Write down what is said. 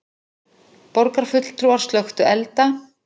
Borgarfulltrúar slökktu elda